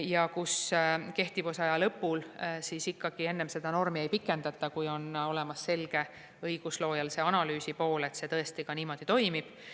Ja kehtivusaja lõpul ikkagi enne seda normi ei pikendata, kui õigusloojale on tänu analüüsile selge, et see tõesti niimoodi toimib.